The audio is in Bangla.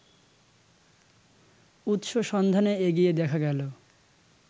উৎস সন্ধানে এগিয়ে দেখা গেলো